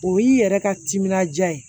O y'i yɛrɛ ka timinandiya ye